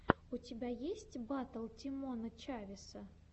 у тебя есть батл тимона чавеса